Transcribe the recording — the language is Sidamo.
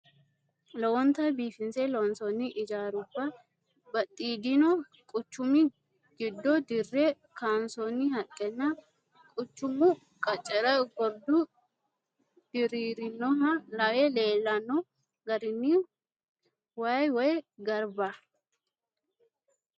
Lowontanni biifinse loonsoonni ijaaruwa batidhino quchumi giddo dirre kaansoonni haqqenna quchumu qaccera gordu diriirinoha lawe leellano garino waa woy garba.